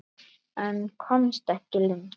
En komst ekki lengra.